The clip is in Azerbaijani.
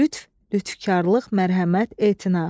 Lütf, lütfkarılıq, mərhəmət, etina.